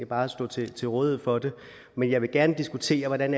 bare stå til til rådighed for det men jeg vil gerne diskutere hvordan